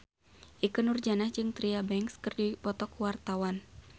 Ikke Nurjanah jeung Tyra Banks keur dipoto ku wartawan